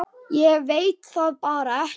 Ég veit það bara ekki.